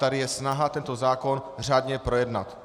Tady je snaha tento zákon řádně projednat.